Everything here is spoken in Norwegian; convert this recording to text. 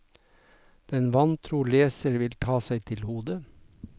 Den vantro leser vil ta seg til hodet.